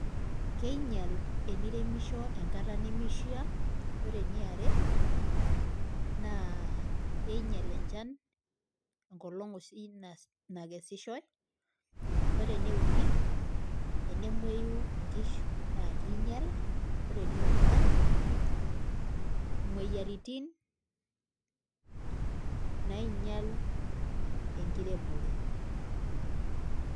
Keinyal eniremishio enkata nemishia, ore eniare naa einyal enchan enkolong' oshi nas nakesishoi. Ore ene uni enemueyu inkishu naake iinyal, ore ene ong'uan imueyiaritin nainyal enkiremore.